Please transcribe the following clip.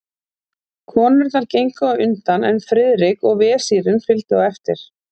Konurnar gengu á undan, en Friðrik og vesírinn fylgdu á eftir.